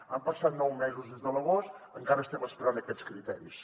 han passat nou mesos des de l’agost i encara estem esperant aquests criteris